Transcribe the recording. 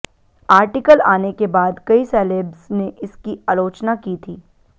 article आने के बाद कई सेलेब्स ने इसकी आलोचना की थी